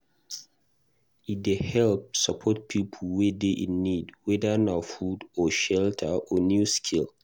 E dey help support pipo wey dey in need whether na food or shelter or new skill